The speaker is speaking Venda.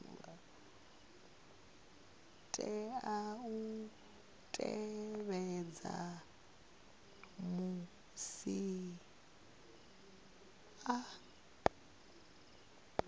tea u tevhedza musi a